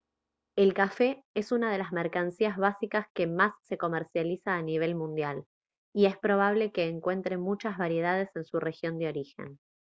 el café es una de las mercancías básicas que más se comercializa a nivel mundial y es probable que encuentre muchas variedades en su región de origen